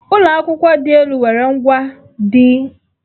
Ụlọ akwụkwọ dị elu nwere ngwà ndị dị elu maka mmụta.